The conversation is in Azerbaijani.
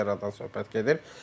Yəradan söhbət gedir.